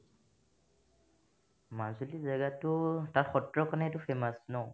মাজুলি জাগাতো তাত সত্ৰখনেইটো famous ন